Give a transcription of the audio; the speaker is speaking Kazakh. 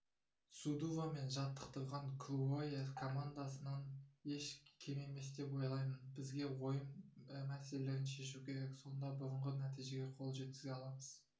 судува мен жаттықтырған круоя командасынан еш кем емес деп ойлаймын бізге ойын мәселелерін шешу керек сонда бұрынғы нәтижеге қол жеткізе аламыз